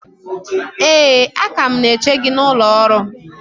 ee, a ka m na-eche gị n’ụlọ ọrụ m